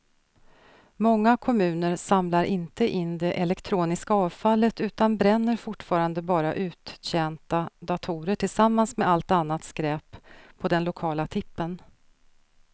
Många kommuner samlar inte in det elektroniska avfallet utan bränner fortfarande bara uttjänta datorer tillsammans med allt annat skräp på den lokala tippen.